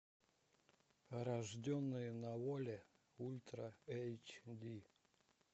рожденные на воле ультра эйч ди